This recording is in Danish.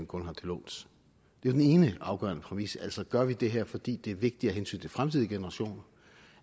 kun har til låns det er den ene afgørende præmis altså gør det her fordi det er vigtigt af hensyn til fremtidige generationer